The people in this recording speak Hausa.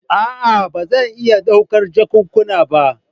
A'a ba zan iya ɗaukar jakunkuna ba.